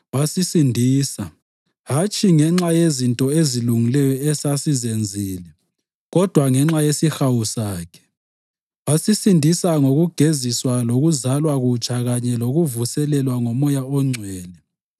wasisindisa, hatshi ngenxa yezinto ezilungileyo esasizenzile kodwa ngenxa yesihawu sakhe. Wasisindisa ngokugeziswa kokuzalwa kutsha kanye lokuvuselelwa nguMoya oNgcwele